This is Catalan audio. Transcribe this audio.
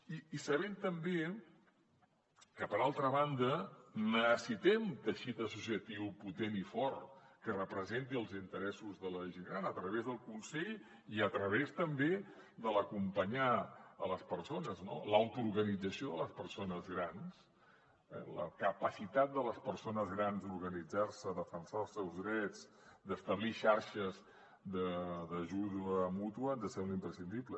i sabent també que per altra banda necessitem teixit associatiu potent i fort que representi els interessos de la gent gran a través del consell i a través també de l’acompanyar les persones no l’autoorganització de les persones grans eh la capacitat de les persones grans d’organitzar se defensar els seus drets d’establir xarxes d’ajuda mútua ens sembla imprescindible